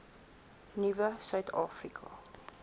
nuwe suid afrika